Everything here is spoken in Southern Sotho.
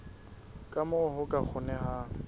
ka moo ho ka kgonehang